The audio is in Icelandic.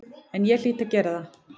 En ég hlýt að gera það.